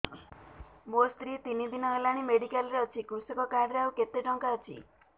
ମୋ ସ୍ତ୍ରୀ ତିନି ଦିନ ହେଲାଣି ମେଡିକାଲ ରେ ଅଛି କୃଷକ କାର୍ଡ ରେ ଆଉ କେତେ ଟଙ୍କା ଅଛି